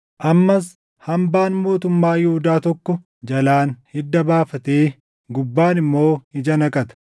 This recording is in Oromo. Ammas hambaan mootummaa Yihuudaa tokko jalaan hidda baafatee gubbaan immoo ija naqata.